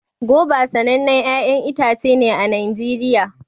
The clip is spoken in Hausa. goba sanannen 'ya'yan itace ne a Najeriya